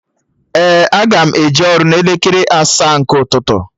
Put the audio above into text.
Ee, aga m eje ọrụ n'elekere asaa nke ụtụtụ